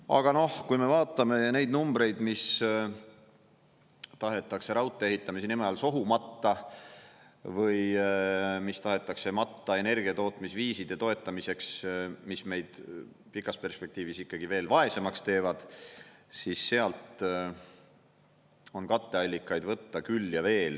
Aga kui me vaatame neid numbreid, mis tahetakse raudtee ehitamise nime all sohu matta või mis tahetakse matta energiatootmisviiside toetamiseks, mis meid pikas perspektiivis ikkagi veel vaesemaks teevad, siis sealt on katteallikaid võtta küll ja veel.